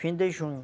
Fim de junho.